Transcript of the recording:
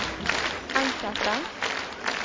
enkelte